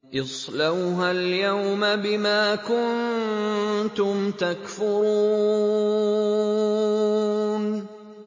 اصْلَوْهَا الْيَوْمَ بِمَا كُنتُمْ تَكْفُرُونَ